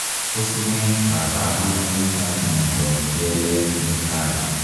Tos nee kabarunoik ap miondoop keleek netai?